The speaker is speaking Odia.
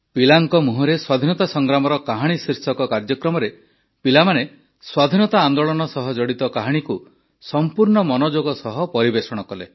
ପିଲାଙ୍କ ମୁହଁରେ ସ୍ୱାଧୀନତା ସଂଗ୍ରାମର କାହାଣୀ ଶୀର୍ଷକ କାର୍ଯ୍ୟକ୍ରମରେ ପିଲାମାନେ ସ୍ୱାଧୀନତା ଆନ୍ଦୋଳନ ସହ ଜଡ଼ିତ କାହାଣୀକୁ ସମ୍ପୂର୍ଣ୍ଣ ମନଯୋଗ ସହ ପରିବେଷଣ କଲେ